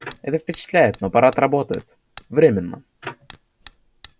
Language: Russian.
это впечатляет но аппарат работает временно